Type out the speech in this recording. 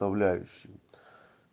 управляющий